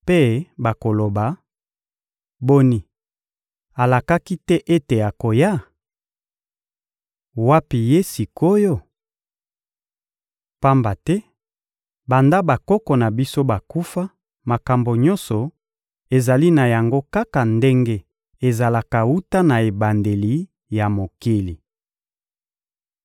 mpe bakoloba: «Boni, alakaki te ete akoya? Wapi ye sik’oyo? Pamba te, banda bakoko na biso bakufa, makambo nyonso ezali na yango kaka ndenge ezalaka wuta na ebandeli ya mokili.»